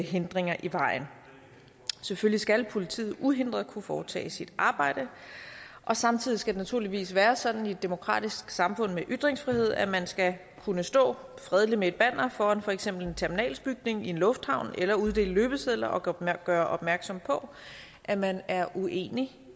hindringer i vejen selvfølgelig skal politiet uhindret kunne foretage sit arbejde og samtidig skal det naturligvis være sådan i et demokratisk samfund med ytringsfrihed at man skal kunne stå fredeligt med et banner foran for eksempel en terminalsbygning i en lufthavn eller uddele løbesedler og gøre opmærksom på at man er uenig